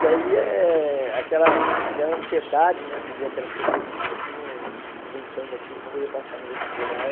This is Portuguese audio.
E aí, eh aquela aquela ansiedade né de ver aquelas pessoas no cursinho enfrentando aquilo para poder passar no vestibular...